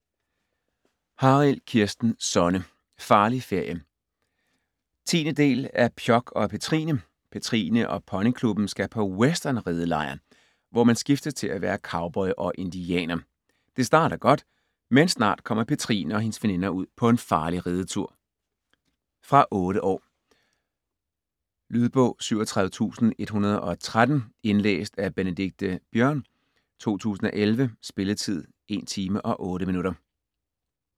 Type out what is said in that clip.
Harild, Kirsten Sonne: Farlig ferie 10. del af Pjok og Petrine. Petrine og Ponyklubben skal på westernridelejr, hvor man skiftes til at være cowboy og indianer. Det starter godt, men snart kommer Petrine og hendes veninder ud på en farlig ridetur. Fra 8 år. Lydbog 37113 Indlæst af Benedikte Biørn, 2011. Spilletid: 1 timer, 8 minutter.